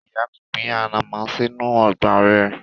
Ìyá mi gbin ànàmọ́ sínú ọgbà rẹ̀.